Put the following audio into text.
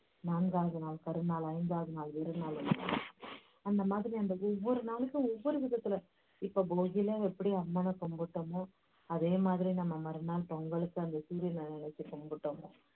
நாங்காவது நாள் கரி நாள், ஐந்தாவது நாள் அந்த மாதிரி அந்த ஒவ்வொரு நாளைக்கும் ஒவ்வொரு விதத்துல இப்போ போகிலாம் எப்படி அம்மனை கும்பிட்டோமோ அதே மாதிரி நம்ம மறுநாள் பொங்கலுக்கு அந்த வச்சி கும்பிட்டோமோ